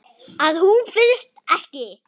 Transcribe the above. Að hún finnist ekki.